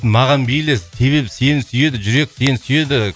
маған мейлі себебі сені сүйеді жүрек сені сүйеді